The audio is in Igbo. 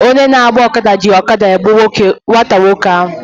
Onye na-agba ọkada ji ọkada ya gbuo nwata nwoke ahụ.